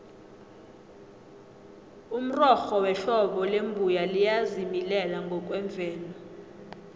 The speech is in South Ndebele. umrorho wehlobo lembuya liyazimilela ngokwemvelo